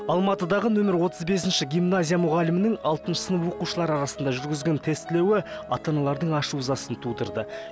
алматыдағы нөмір отыз бесінші гимназия мұғалімінің алтыншы сынып оқушылар арасында жүргізген тестілеуі ата аналардың ашу ызасын тудырды